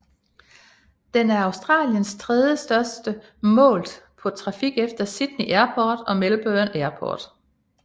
Den er Australiens tredjestørste målt på trafik efter Sydney Airport og Melbourne Airport